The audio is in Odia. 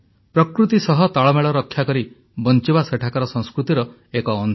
ପ୍ରକୃତି ସହ ତାଳମେଳ ରକ୍ଷା କରି ବଞ୍ଚିବା ସେଠାକାର ସଂସ୍କୃତିର ଏକ ଅଂଶ